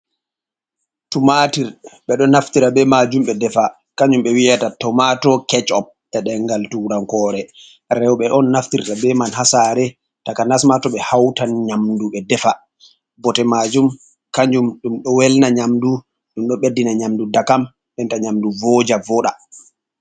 Tumatir: Be do naftira be majum be defa. Kanjum be wiyata tomato catch up e' dengal turankore. roɓe on naftirta be man hasare takanas ma to ɓe hautan nyamdu be defa. Bote majum kanjum dum do welna nyamdu, dum do beddina nyamdu ndakam, nden ta nyamdu voja, voda.